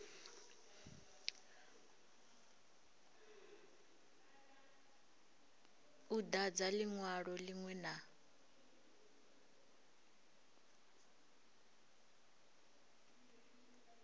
u dadza linwalo linwe na